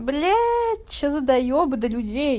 блять что за доебы до людей